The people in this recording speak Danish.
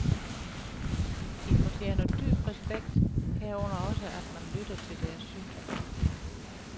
De fortjener dyb respekt, herunder også at man lytter til deres synspunkter.